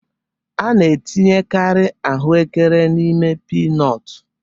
A na-etinyekarị ahụekere n'ime pinọtu